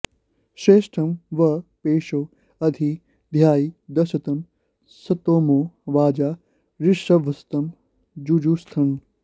श्रेष्ठं वः पेशो अधि धायि दर्शतं स्तोमो वाजा ऋभवस्तं जुजुष्टन